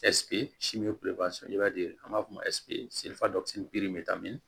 i b'a ye an b'a fɔ bɛ taa min